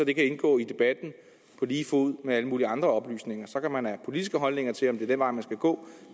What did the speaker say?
det kan indgå i debatten på lige fod med alle mulige andre oplysninger så kan man have politiske holdninger til om det er den vej man skal gå